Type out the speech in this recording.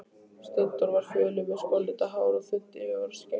Steindór var fölur, með skollitað hár og þunnt yfirvararskegg.